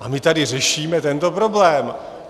A my tady řešíme tento problém.